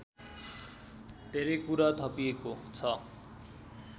धेरै कुरा थपिएको छ